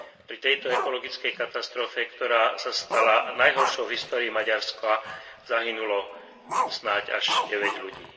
Pri tejto ekologickej katastrofe, ktorá sa stala najhoršou v histórii Maďarska, zahynulo snáď až 9 ľudí.